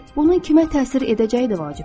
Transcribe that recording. Bunun kimə təsir edəcəyi də vacib deyil.